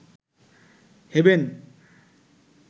haven